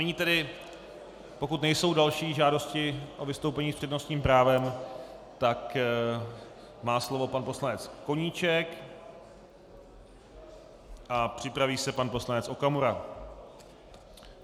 Nyní tedy, pokud nejsou další žádosti o vystoupení s přednostním právem, tak má slovo pan poslanec Koníček a připraví se pan poslanec Okamura.